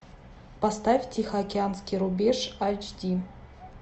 поставь тихоокеанский рубеж айч ди